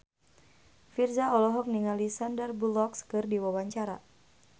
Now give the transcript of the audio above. Virzha olohok ningali Sandar Bullock keur diwawancara